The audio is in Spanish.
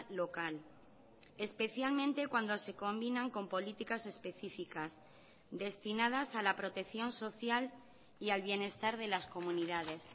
local especialmente cuando se combinan con políticas específicas destinadas a la protección social y al bienestar de las comunidades